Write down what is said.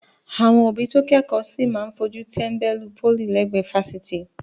Àwọn òbí tó kẹ́kọ̀ọ́ sì máa fojú tẹ́ńbẹ́lú pólì lẹ́gbẹ̀ẹ́ fásitì.